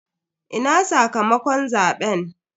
Ina sakamakon zaben?